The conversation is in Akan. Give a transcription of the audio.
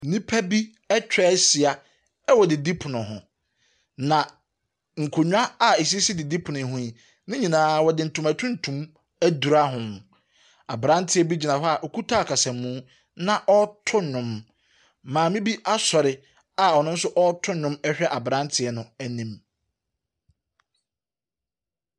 Nnipa bi atwa ahyia wɔ didipono ho, na nkonnwa a ɛsisi didipono yi ho yi, ne nyinaa wɔde ntoma tuntum adura ho. Aberanteɛ bi gyina hɔ a ɔkuta akasamu na ɔreto nnwom. Maame bi asɔre a ɔno nso reto nnwo hwɛ aberanteɛ no anim.